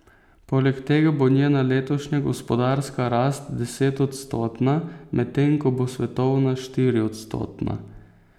Poleg tega bo njena letošnja gospodarska rast desetodstotna, medtem ko bo svetovna štiriodstotna.